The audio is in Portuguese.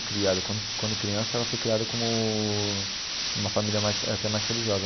Criada quando quando criança ela foi criada como uma família mais até mais religiosa.